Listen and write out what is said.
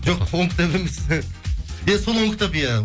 жоқ он кітап емес иә сол он кітап иә